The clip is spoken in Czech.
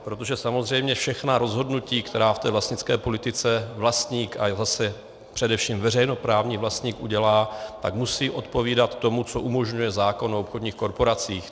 Protože samozřejmě všechna rozhodnutí, která v té vlastnické politice vlastník a zase především veřejnoprávní vlastník udělá, tak musí odpovídat tomu, co umožňuje zákon o obchodních korporacích.